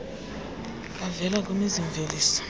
avela kwimizi mveliso